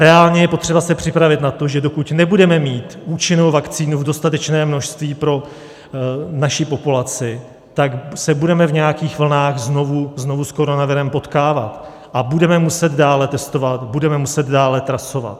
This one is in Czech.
Reálně je potřeba se připravit na to, že dokud nebudeme mít účinnou vakcínu v dostatečném množství pro naši populaci, tak se budeme v nějakých vlnách znovu s koronavirem potkávat a budeme muset dále testovat, budeme muset dále trasovat.